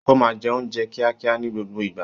Ó máa ń jẹ oúnjẹ kíákíá ní gbogbo ìgbà